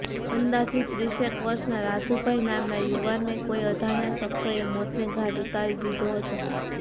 અંદાજીત ત્રીસેક વર્ષના રાજુભાઇ નામના યુવાનને કોઇ અજાણ્યા શખ્સોએ મોતને ઘાટ ઉતારી દીધો હતો